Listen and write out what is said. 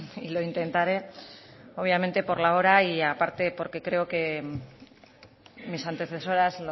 y lo intentare obviamente por la hora y aparte porque creo que mis antecesoras